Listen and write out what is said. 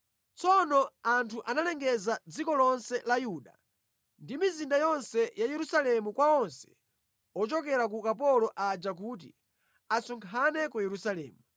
Tsono anthu analengeza mʼdziko lonse la Yuda ndi mʼmizinda yonse ya Yerusalemu kwa onse ochokera ku ukapolo aja kuti asonkhane ku Yerusalemu.